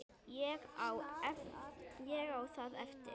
Ég á það eftir.